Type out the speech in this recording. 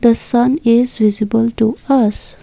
the sun is visible to us.